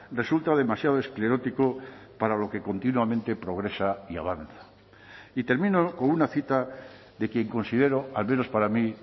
resulta demasiado esclerótico para lo que continuamente progresa y avanza y termino con una cita de quien considero al menos para mí